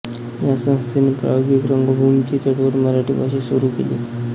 या संस्थेने प्रायोगिक रंगभूमीची चळवळ मराठी भाषेत सुरू केली